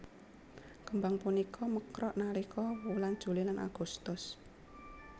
Kembang punika mekrok nalika wulan Juli lan Agustus